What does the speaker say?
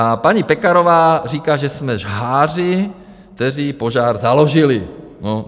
A paní Pekarová říká, že jsme žháři, kteří požár založili.